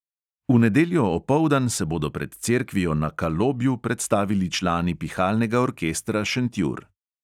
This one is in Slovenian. V nedeljo opoldan se bodo pred cerkvijo na kalobju predstavili člani pihalnega orkestra šentjur.